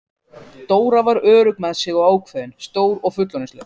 Dóra var örugg með sig og ákveðin, stór og fullorðinsleg.